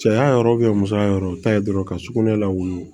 Cɛya yɔrɔ musoya yɔrɔ ta ye dɔrɔn ka sugunɛ lawuli